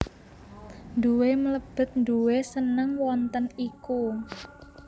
Nduwe mlebet nduwe seneng wonten iku